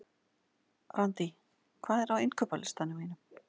Randý, hvað er á innkaupalistanum mínum?